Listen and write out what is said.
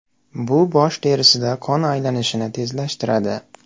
Bu bosh terisida qon aylanishini tezlashtiradi.